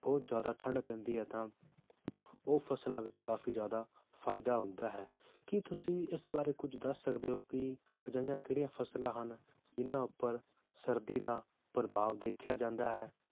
ਬਹੁਤ ਜ਼ਿਆਦਾ ਠੰਡ ਪੈਂਦੀ ਹੈ ਤਾਂ ਉਹ ਫਸਲਾਂ ਵਿਚ ਕਾਫੀ ਜ਼ਿਆਦਾ ਫਾਇਦਾ ਹੁੰਦਾ ਹੈ ਕੀ ਤੁਸੀਂ ਇਸ ਬਾਰੇ ਕੁਝ ਦੱਸ ਸਕਦੇ ਹੋ ਕਿ ਅਜਿਹੀਆਂ ਕਿਹੜੀਆਂ ਫਸਲਾਂ ਹਨ ਜਿਹਨਾਂ ਉਪਰ ਸਰਦੀ ਦਾ ਪ੍ਰਭਾਵ ਦੇਖਿਆ ਜਾਂਦਾ ਹੈ?